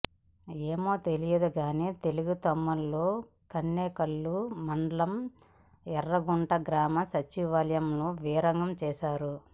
ఏమో తెలియదు గానీ తెలుగు తమ్ముళ్లు కణేకల్లు మండలం యర్రగుంట గ్రామ సచివాలయంలో వీరంగం వేశారు